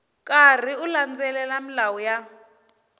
karhi u landzelela milawu ya